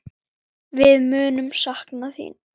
Við munum sakna þín.